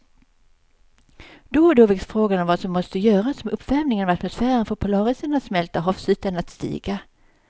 Då och då väcks frågan om vad som måste göras om uppvärmingen av atmosfären får polarisarna att smälta och havsytan att stiga.